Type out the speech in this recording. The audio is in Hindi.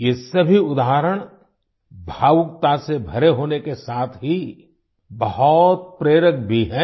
ये सभी उदाहरण भावुकता से भरे होने के साथ ही बहुत प्रेरक भी हैं